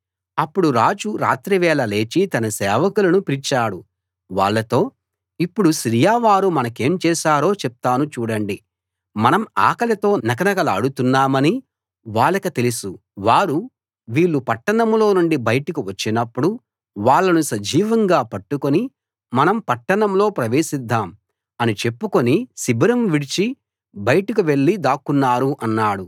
అప్పుడు రాజు రాత్రి వేళ లేచి తన సేవకులను పిలిచాడు వాళ్ళతో ఇప్పుడు సిరియా వారు మనకేం చేశారో చెప్తాను చూడండి మనం ఆకలితో నకనకలాడుతున్నామని వాళ్ళకు తెలుసు వారు వీళ్ళు పట్టణంలో నుండి బయటకు వచ్చినప్పుడు వాళ్ళను సజీవంగా పట్టుకుని మనం పట్టణంలో ప్రవేశిద్దాం అని చెప్పుకుని శిబిరం విడిచి బయటకు వెళ్ళి దాక్కున్నారు అన్నాడు